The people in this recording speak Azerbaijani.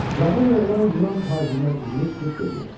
Cavan oğlan Yunan tacirinə üzünü tutub dedi: